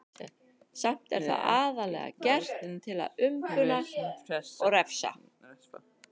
Samt er það aðallega gert til að umbuna og refsa.